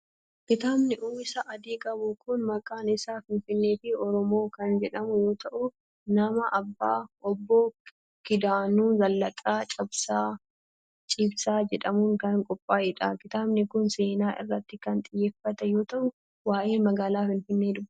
Kitaabni uwwisa adii qabu kun, maqaan isaa Finfinnee fi Oromoo kan jedhamu yoo ta'u, nama Obbo Kidaanuu Zallaqaa Ciibsaa jedhamuun kan qophaa'ee dha. Kitaabni kun, seenaa irratti kan xiyyeeffate yoo ta'u, waa'ee magaala Finfinnee dubbata.